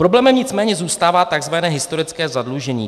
- Problémem nicméně zůstává tzv. historické zadlužení.